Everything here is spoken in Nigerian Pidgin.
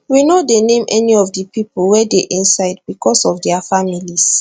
we no dey name any of di pipo wey dey inside becos of dia families